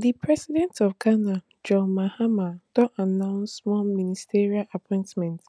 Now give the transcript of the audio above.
di president of ghana john mahama don announce more ministerial appointments